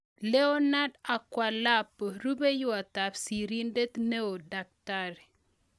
Leornard Akwilapo. Rupeiywot ap Sirindeet neoo-Dkt